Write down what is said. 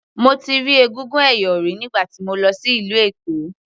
Mo ti rí egúngún ẹ̀yọ̀ rí nígbà tí mo lọ sí ìlú Èkó.